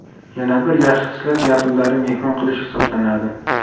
Yana bir yaxshi xislat yaqinlarni mehmon qilish hisoblanadi.